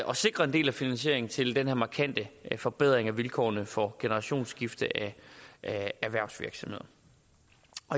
og sikre en del af finansieringen til den her markante forbedring af vilkårene for generationsskifte i erhvervsvirksomheder